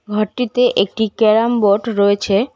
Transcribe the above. ঘরটিতে একটি carrom board রয়েছে।